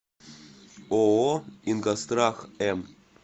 ооо ингосстрах м